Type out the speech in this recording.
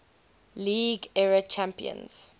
league era champions